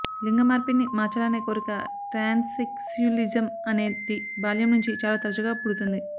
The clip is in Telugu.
లింగమార్పిడిని మార్చాలనే కోరిక ట్రాన్స్సెక్స్యులిజం అనేది బాల్యం నుంచి చాలా తరచుగా పుడుతుంది